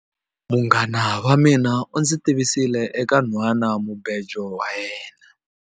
MUnghana wa mina u ndzi tivisile eka nhwanamubejo wa yena.